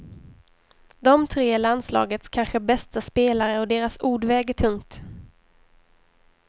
De tre är landslagets kanske bästa spelare och deras ord väger tungt.